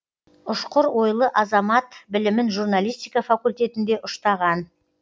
ұшқыр ойлы азамат білімін журналистика факультетінде ұштаған